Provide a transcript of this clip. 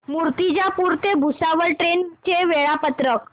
मूर्तिजापूर ते भुसावळ ट्रेन चे वेळापत्रक